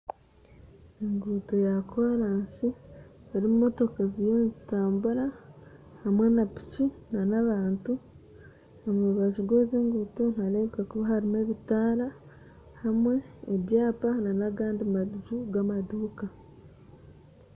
Enguuto ya koraasi erimu motoka ziriyo nizitambura hamwe na piki na n'abantu, omu rubaju rw'ezi enguuto niharebeka kuba harimu ebitaara hamwe n'ebyapa nagandi maju gamaduuka.